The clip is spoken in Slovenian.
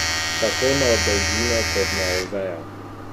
Tako na Dolgina kot na Oveja.